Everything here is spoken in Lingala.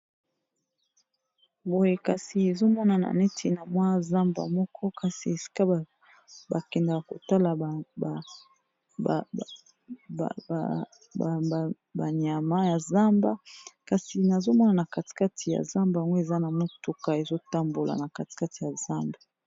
boye kasi ezomonana neti na mwa zamba moko kasi esika bakendaka kotala banyama ya zamba kasi nazomona na katikati ya zamba ango eza na motuka ezotambola na katikati ya zamba